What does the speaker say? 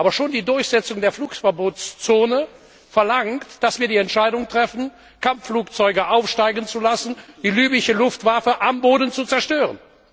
Aber schon die Durchsetzung der Flugverbotszone verlangt, dass wir die Entscheidung treffen, Kampfflugzeuge aufsteigen zu lassen und die libysche Luftwaffe am Boden zu zerstören.